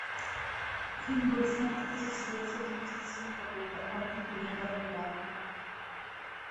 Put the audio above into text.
фильм был снят тысяча девятьсот девяносто седьмого года о гибели корабля